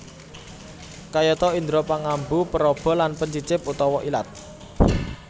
Kayata indra pangambu peraba lan pencicip utawa ilat